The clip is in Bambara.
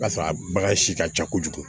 Ka sɔrɔ a bagan si ka ca kojugu